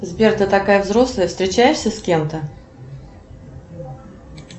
сбер ты такая взрослая встречаешься с кем то